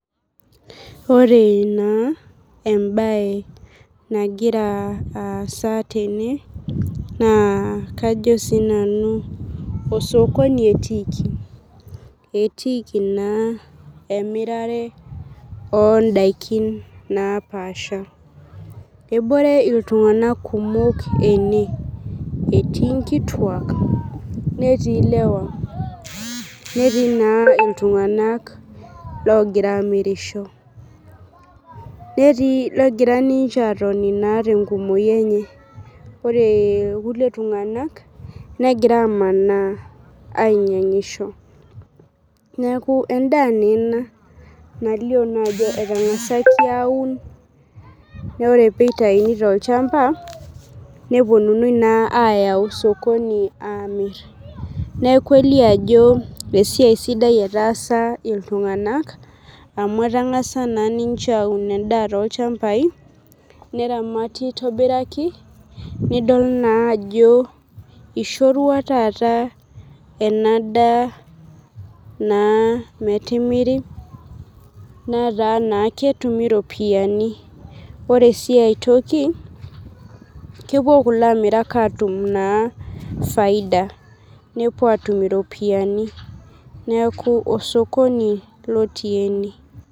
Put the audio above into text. Ore na embae nagira aasa tene na kajo sinanu osokoni etiiki etiiki na emirare ondakin napaasha ebore ltunganak kumok ene etii nkituak netii ilewa netii ltunganak ogira amirisho netii logira ninche atoni tenkumoi enye ore irkulie tunganak negira amanaa ainyangisho neaku endaa ena nalio na ajo etangasaki aaun na ore pitauni tolchamba neponunui ayau osokoni aponu amir neaku kitadolu ajo ltunganak amu etangasa aun endaa tolchambai neramat aitobiraki nidol ajo ishorua taata enadaa na metimiri nataa ktumi ropiyani ore si aitoki kepuo lamirak atum faida nepuobatim iropiyiani neaku osokoni otii ene.